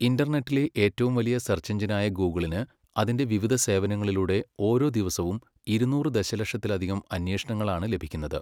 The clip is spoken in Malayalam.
ഇന്റർനെറ്റിലെ ഏറ്റവും വലിയ സെർച്ച് എഞ്ചിനായ ഗൂഗിളിന് അതിന്റെ വിവിധ സേവനങ്ങളിലൂടെ ഓരോ ദിവസവും ഇരുന്നൂറ് ദശലക്ഷത്തിലധികം അന്വേഷണങ്ങളാണ് ലഭിക്കുന്നത്.